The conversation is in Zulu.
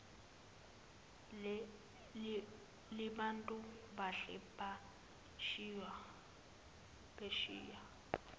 libantu bahle phesheya